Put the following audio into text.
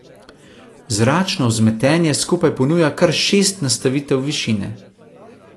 Zračno vzmetenje skupaj ponuja kar šest nastavitev višine.